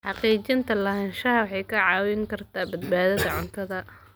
Xaqiijinta lahaanshaha waxay kaa caawin kartaa badbaadada cuntada.